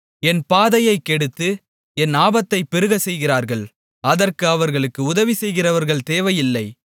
என் பாதையைக் கெடுத்து என் ஆபத்தைப் பெருகச் செய்கிறார்கள் அதற்கு அவர்களுக்கு உதவி செய்கிறவர்கள் தேவையில்லை